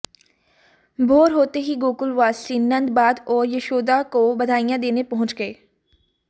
भोर होते ही गोकुलवासी नंदबाद और यशोदा को बधाइयां देने पहुंच गए